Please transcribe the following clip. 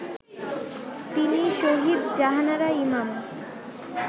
তিনি শহীদ জাহানারা ইমাম